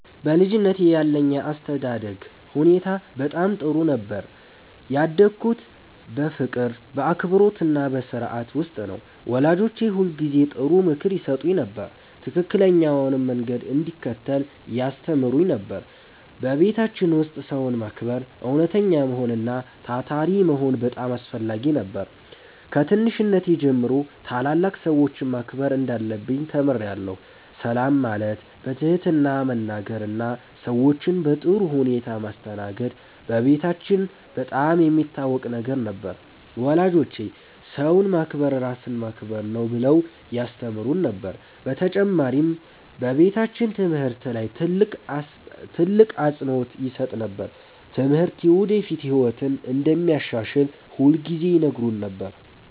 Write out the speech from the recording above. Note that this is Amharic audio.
በልጅነቴ ያለኝ የአስተዳደግ ሁኔታ በጣም ጥሩ ነበር። ያደግሁት በፍቅር፣ በአክብሮትና በሥርዓት ውስጥ ነው። ወላጆቼ ሁልጊዜ ጥሩ ምክር ይሰጡኝ ነበር፣ ትክክለኛውንም መንገድ እንድከተል ያስተምሩኝ ነበር። በቤታችን ውስጥ ሰውን ማክበር፣ እውነተኛ መሆን እና ታታሪ መሆን በጣም አስፈላጊ ነበር። ከትንሽነቴ ጀምሮ ታላላቅ ሰዎችን ማክበር እንዳለብኝ ተምሬአለሁ። ሰላም ማለት፣ በትህትና መናገር እና ሰዎችን በጥሩ ሁኔታ ማስተናገድ በቤታችን በጣም የሚታወቅ ነገር ነበር። ወላጆቼ “ሰውን ማክበር ራስን ማክበር ነው” ብለው ያስተምሩን ነበር። በተጨማሪም በቤታችን ትምህርት ላይ ትልቅ አፅንዖት ይሰጥ ነበር። ትምህርት የወደፊት ህይወትን እንደሚያሻሽል ሁልጊዜ ይነግሩን ነበር።